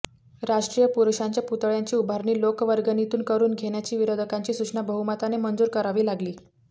राष्ट्रीय पुरुषांच्या पुतळ्यांची उभारणी लोकवर्गणीतून करून घेण्याची विरोधकांची सूचना बहुमताने मंजूर करावी लागली